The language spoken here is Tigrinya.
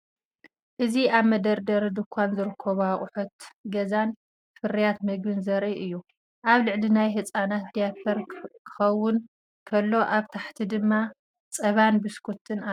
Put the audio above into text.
እዚ ኣብ መደርደሪ ድኳን ዝርከቡ ኣቑሑት ገዛን ፍርያት መግብን ዘርኢ እዩ። ኣብ ላዕሊ ናይ ህጻናት ዳያፐር ክኸውን ከሎ፡ ኣብ ታሕቲ ድማ ጸባን ቢስኩትን ኣሎ።